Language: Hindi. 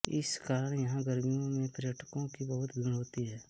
इस कारण यहां गर्मियों में पर्यटकों की बहुत भीड़ होती है